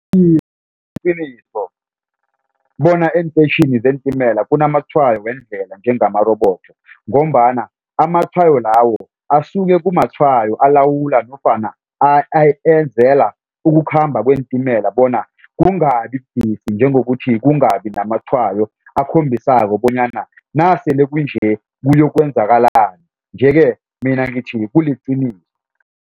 Iye, kuliqiniso bona eenteyitjhini zeentimela kunamatshwayo wendlela njengamarobodo ngombana amatshwayo lawo asuke kumatshwayo alawulwa nofana enzela ukukhamba kweentimela bona kungabi budisi njengokuthi kungabi namatshwayo akhombisako bonyana nasele kunje kuyokwenzakalani nje-ke mina ngithi kuliqiniso.